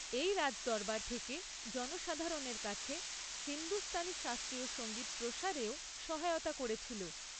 এটি রাজদরবার থেকে জনসাধারণের কাছে হিন্দুস্তানি শাস্ত্রীয় সঙ্গীত প্রসারেও সহায়তা করেছিল।